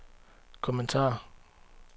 kommentar